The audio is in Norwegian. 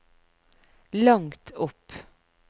langt opp